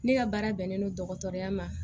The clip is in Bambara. Ne ka baara bɛnnen don dɔgɔtɔrɔya ma